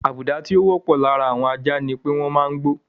Àbùdá tí ó wọ́pọ̀ láàárin àwọn ajá ni pé wọ́n máa ń gbó.